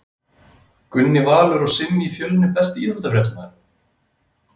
Gunni Valur og Simmi í Fjölni Besti íþróttafréttamaðurinn?